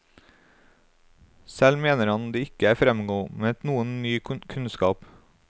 Selv mener han det ikke er fremkommet noen ny kunnskap.